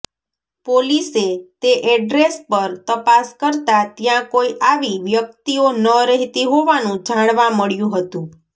પોલીસે તે એડ્રેસ પર તપાસ કરતાં ત્યાંકોઈ આવી વ્યક્તિઓ ન રહેતી હોવાનું જાણવા મળ્યું હતું